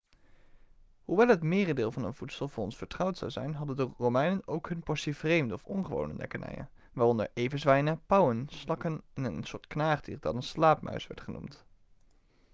hoewel het merendeel van hun voedsel voor ons vertrouwd zou zijn hadden de romeinen ook hun portie vreemde of ongewone lekkernijen waaronder everzwijnen pauwen slakken en een soort knaagdier dat een slaapmuis werd genoemd